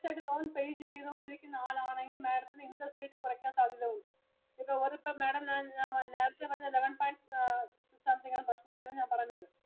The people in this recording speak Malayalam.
continuous ആയിട്ടു loan pay ചെയ്തു കൊണ്ടിരിക്കുന്ന ആളാണെങ്കിൽ Madam ത്തിനു interest rate കുറയ്ക്കാൻ സാധ്യത ഉണ്ട്. അതിപ്പം ഓരോരുത്തര് Madam ഞാൻ നേരത്തെ പറഞ്ഞ eleven point something interest rate ആണ് ഞാൻ പറഞ്ഞത്.